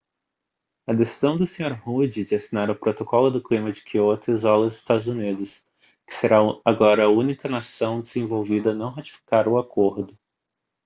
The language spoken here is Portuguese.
a decisão do senhor rudd de assinar o protocolo do clima de kyoto isola os estados unidos que será agora a única nação desenvolvida a não ratificar o acordo